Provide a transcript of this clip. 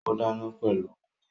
Ó dáná pẹ̀lú gúre